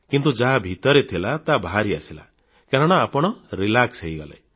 କିନ୍ତୁ ଯାହା ଭିତରେ ଥିଲା ତାହା ବାହାରି ଆସିଲା କାରଣ ଆପଣ ରିଲାକ୍ସ ହୋଇଗଲେ